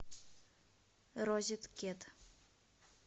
розеткед